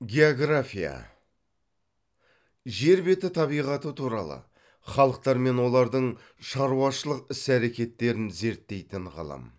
география жер беті табиғаты туралы халықтар мен олардың шаруашылық іс әрекеттерін зерттейтін ғылым